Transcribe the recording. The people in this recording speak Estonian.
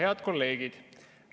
Head kolleegid!